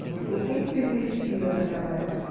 O que se vestia naquela época?